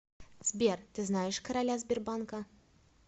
сбер ты знаешь короля сбербанка